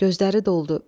Gözləri doldu.